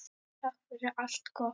Takk fyrir allt gott.